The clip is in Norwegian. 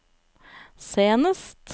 senest